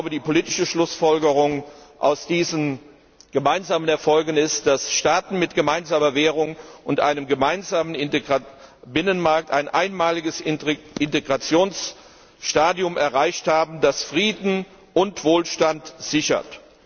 Die politische Schlussfolgerung aus diesen gemeinsamen Erfolgen ist, dass Staaten mit gemeinsamer Währung und einem gemeinsamen Binnenmarkt ein einmaliges Integrationsstadium erreicht haben, das Frieden und Wohlstand sichert.